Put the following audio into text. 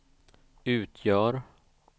utgör